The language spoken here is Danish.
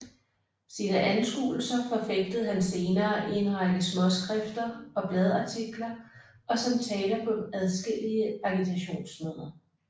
Sine anskuelser forfægtede han senere i en række småskrifter og bladartikler og som taler på adskillige agitationsmøder